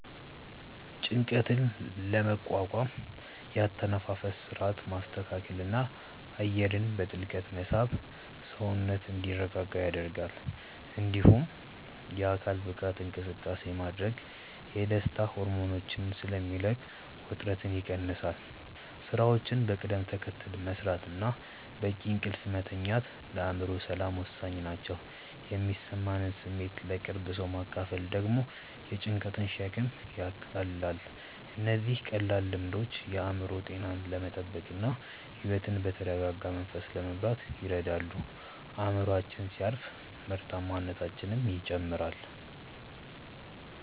ጭንቀትን ለመቋቋም የአተነፋፈስ ሥርዓትን ማስተካከልና አየርን በጥልቀት መሳብ ሰውነት እንዲረጋጋ ይረዳል። እንዲሁም የአካል ብቃት እንቅስቃሴ ማድረግ የደስታ ሆርሞኖችን ስለሚለቅ ውጥረትን ይቀንሳል። ሥራዎችን በቅደም ተከተል መሥራትና በቂ እንቅልፍ መተኛት ለአእምሮ ሰላም ወሳኝ ናቸው። የሚሰማንን ስሜት ለቅርብ ሰው ማካፈል ደግሞ የጭንቀትን ሸክም ያቃልላል። እነዚህ ቀላል ልምዶች የአእምሮ ጤናን ለመጠበቅና ሕይወትን በተረጋጋ መንፈስ ለመምራት ይረዳሉ። አእምሮአችን ሲያርፍ ምርታማነታችንም ይጨምራል።